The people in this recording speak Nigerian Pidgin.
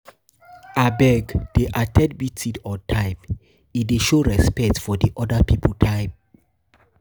Abeg, dey at ten d meeting on time, e dey show respect for di oda pipo time.